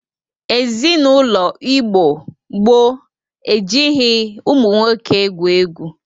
Ezinaụlọ Igbo gboo e jighi ụmụ nwoke egwu egwu.